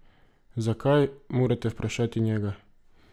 Zakaj, morate vprašati njega.